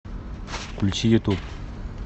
включи ютуб